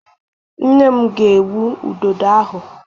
Nne m ga-egbu Ududo ahụ.